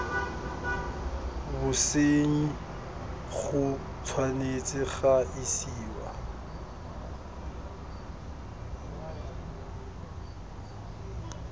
bosenyi go tshwanetse ga isiwa